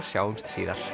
sjáumst síðar